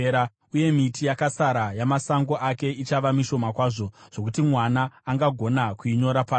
Uye miti yakasara yamasango ake ichava mishoma kwazvo, zvokuti mwana angagona kuinyora pasi.